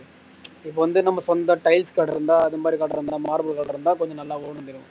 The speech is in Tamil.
இப்ப வந்து நம்ம சொந்த tiles கடை இருந்தா அது மாதிரி கடை இருந்த normal கடை இருந்த கொஞ்சம் நல்லா ஓடும்